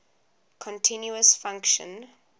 continuous function